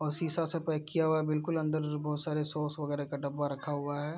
और शीशा से पैक किया हुआ है और बिलकुल अन्दर बहोत सारे सॉस वगेरह का डब्बा रखा हुआ है।